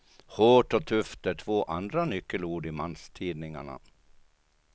Hårt och tufft är två andra nyckelord i manstidningarna.